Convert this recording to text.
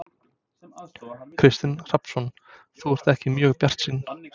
Kristinn Hrafnsson: Þú ert ekki mjög bjartsýn?